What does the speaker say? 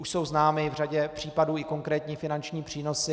Už jsou známy v řadě případů i konkrétní finanční přínosy.